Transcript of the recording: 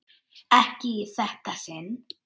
Ekki í þetta sinn.